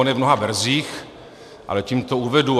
On je v mnoha verzích, ale tím to uvedu.